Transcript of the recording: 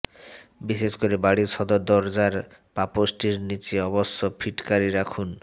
বিশেষ করে বাড়ির সদর দরজার পাপোষটির নিচে অবশ্যই ফিটকারি রাখুন